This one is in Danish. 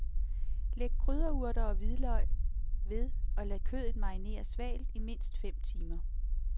Læg krydderurter og hvidløg ved og lad kødet marinere svalt i mindst fem timer.